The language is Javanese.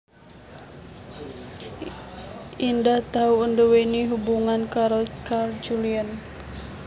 Indah tau nduwèni hubungan karo Carl Julieen